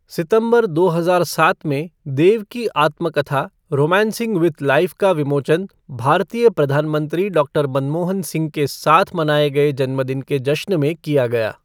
सितंबर दो हजार सात में, देव की आत्मकथा 'रोमांसिंग विद लाइफ़' का विमोचन भारतीय प्रधान मंत्री डॉक्टर मनमोहन सिंह के साथ मनाए गए जन्मदिन के जश्न में किया गया।